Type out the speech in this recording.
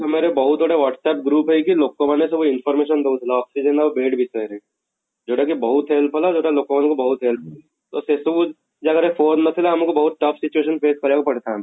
ତ ବହୁତ ଗୁଡ଼ାଏ whats APP group ହେଇକି ଲୋକ ମାନେ ସବୁ information ଦଉଥିଲେ oxygen ଆଉ bed ବିଶୟେ ରେ ଯଉଟା କି ବହୁତ help ହେଲା ଯଉଟା ଲୋକ ମାନଙ୍କୁ ତ ସେ ସବୁ